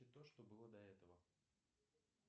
и то что было до этого